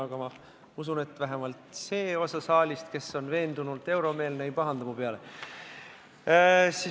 Aga ma usun, et vähemalt see osa saalist, kes on veendunult euromeelne, ei pahanda mu peale.